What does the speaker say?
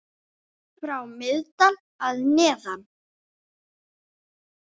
frá Miðdal að neðan.